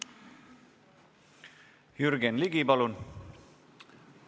Jürgen Ligi, palun!